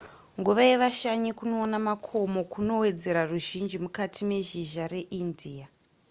nguva yevashanyi kunoona makomo kunowedzera ruzhinji mukati mezhizha reindia